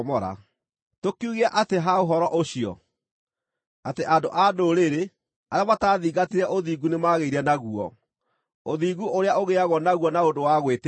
Tũkiuge atĩa ha ũhoro ũcio? Atĩ andũ-a-Ndũrĩrĩ, arĩa mataathingatire ũthingu, nĩmagĩire naguo, ũthingu ũrĩa ũgĩĩagwo naguo na ũndũ wa gwĩtĩkia;